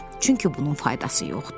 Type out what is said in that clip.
Çünki bunun faydası yoxdur.